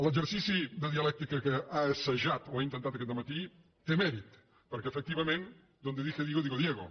l’exercici de dialèctica que ha assajat o ha intentat aquest dematí té mèrit perquè efectivament donde dije digo digo diego